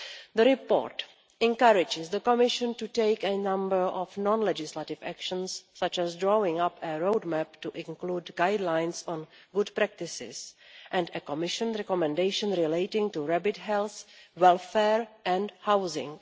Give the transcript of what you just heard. The report encourages the Commission to take a number of non legislative actions such as drawing up a roadmap to include guidelines on good practices and a Commission recommendation relating to rabbit health, welfare and housing.